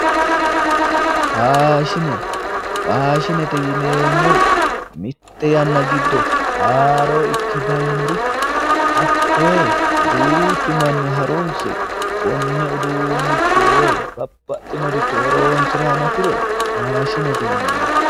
Faashine faashinete yineemmori mitte yanna giddo haroo ikke dayinoricho hakkoye duuchu manni harunise konne uduunnicho woy babbaxeworicho horonisira hanafiro faashinete yinanni.